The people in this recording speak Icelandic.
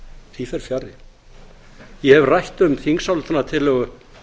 því fer fjarri ég hef rætt um þingsályktunartillögu